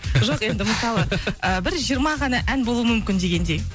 жоқ енді мысалы і бір жиырма ғана ән болуы мүмкін дегендей